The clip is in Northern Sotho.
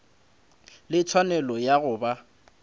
le tshwanelo ya go ba